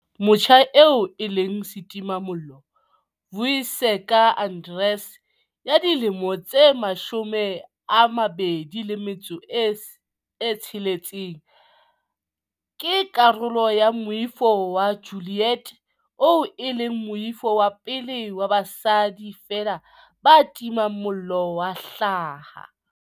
Motjha eo e leng setimamollo, Vuyiseka Arendse ya dilemo di 26, ke karolo ya Moifo wa Ju-liet oo e leng moifo wa pele wa basadi feela ba timang mollo wa hlaha.